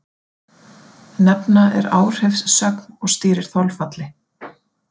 Nefna er áhrifssögn og stýrir þolfalli.